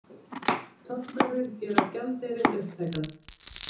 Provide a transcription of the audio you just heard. Tollverðir gera gjaldeyrinn upptækan